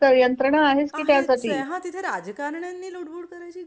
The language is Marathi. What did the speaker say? यंत्रणा आहे की त्यासाठी आहेच ये हा तिथं राजकारण्यांनी लुडबूड करण्याची